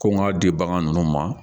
Ko n ka di bagan ninnu ma